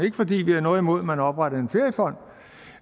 ikke fordi vi har noget imod at man oprettede en feriefond